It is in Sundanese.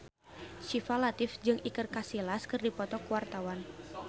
Syifa Latief jeung Iker Casillas keur dipoto ku wartawan